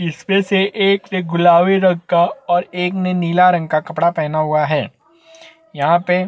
इस मे से एक ने गुलाबी रंग का और एक ने नीला रंग का कपड़ा पहना हुआ है यहाँ पे--